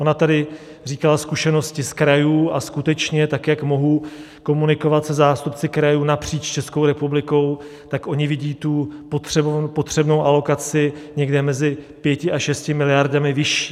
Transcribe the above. Ona tady říkala zkušenosti z krajů, a skutečně tak jak mohu komunikovat se zástupci krajů napříč Českou republikou, tak oni vidí tu potřebnou alokaci někde mezi 5 až 6 miliardami vyšší.